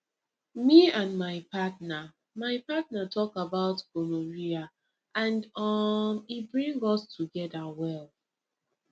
me and my partner my partner talk about gonorrhea and um e bring us together well